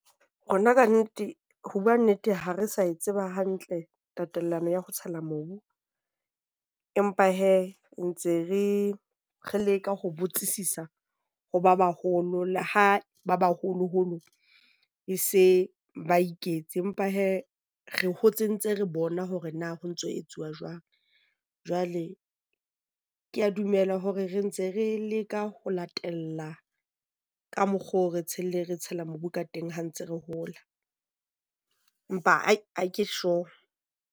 Rona kannete, ho bua nnete, ha re sa e tseba hantle tatellano ya ho tshela mobu. Empa hee, ntse re leka ho botsisisa ho ba baholo le ha ba baholoholo e se ba iketse. Empa hee re hotse ntse re bona hore na ho ntso ho etsuwa jwang, jwale ke a dumela hore re ntse re leka ho latella ka mokgo re re tshela mobu ka teng ha ntse re hola, empa ha ke sure.